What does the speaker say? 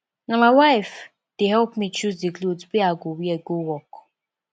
na my wife dey help me choose di cloth wey i go wear go work